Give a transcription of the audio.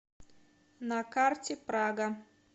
на карте прага